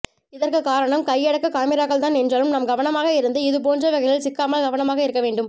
இதற்கு காரணம் கையடக்க காமிராக்கள்தான் என்றாலும் நாமும் கவனமாக இருந்து இது போன்றவைகளில் சிக்காமல் கவனமாக இருக்க வேண்டும்